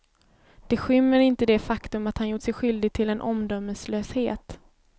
Det skymmer inte det faktum att han gjort sig skyldig till en omdömeslöshet.